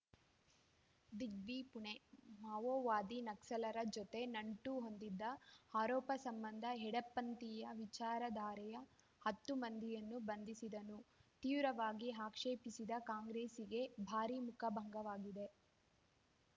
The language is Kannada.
ದಿಗ್ವಿ ಪುಣೆ ಮಾವೋವಾದಿ ನಕ್ಸಲರ ಜತೆ ನಂಟು ಹೊಂದಿದ ಆರೋಪ ಸಂಬಂಧ ಎಡಪಂಥೀಯ ವಿಚಾರಧಾರೆಯ ಹತ್ತು ಮಂದಿಯನ್ನು ಬಂಧಿಸಿದ್ದನ್ನು ತೀವ್ರವಾಗಿ ಆಕ್ಷೇಪಿಸಿದ್ದ ಕಾಂಗ್ರೆಸ್ಸಿಗೆ ಭಾರಿ ಮುಖಭಂಗವಾಗಿದೆ